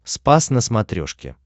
спас на смотрешке